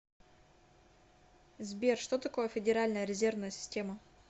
сбер что такое федеральная резервная система